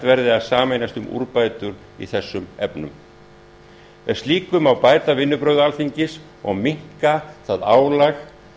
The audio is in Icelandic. verði að sameinast um úrbætur í þessum efnum með slíku má bæta vinnubrögð alþingis og minnka það álag